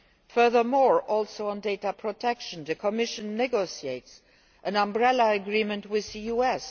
Furthermore, also on data protection, the Commission is negotiating an umbrella agreement with the US.